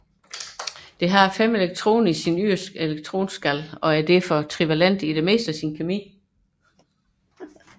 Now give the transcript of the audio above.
Det har fem elektroner i sin yderste elektronskal og er derfor trivalent i det meste af sin kemi